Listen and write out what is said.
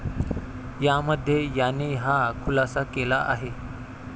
यामध्ये याने हा खुलासा केला आहे.